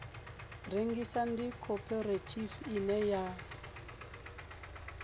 rengisa ndi khophorethivi ine ya